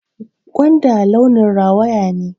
Gwanda launin rawaya ne